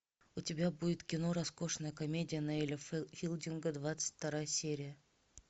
у тебя будет кино роскошная комедия ноэля филдинга двадцать вторая серия